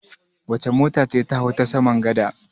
Wace mota ce ta hau ta saman gada?